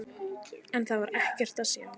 En þar var ekkert að sjá.